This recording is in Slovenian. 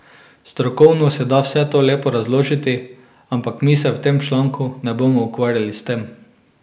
Strokovno se da vse to lepo razložiti, ampak mi se v tem članku ne bomo ukvarjali s tem.